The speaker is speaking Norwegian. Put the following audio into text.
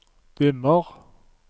dimmer